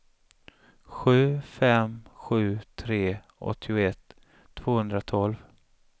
sju fem sju tre åttioett tvåhundratolv